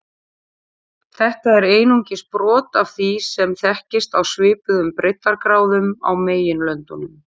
Þetta er einungis brot af því sem þekkist á svipuðum breiddargráðum á meginlöndunum.